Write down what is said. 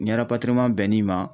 Ni bɛn'i ma